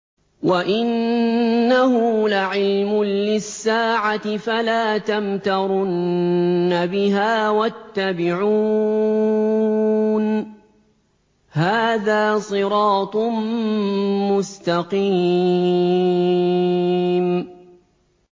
وَإِنَّهُ لَعِلْمٌ لِّلسَّاعَةِ فَلَا تَمْتَرُنَّ بِهَا وَاتَّبِعُونِ ۚ هَٰذَا صِرَاطٌ مُّسْتَقِيمٌ